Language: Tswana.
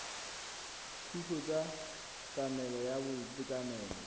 dithuso tsa tlamelo ya boitekanelo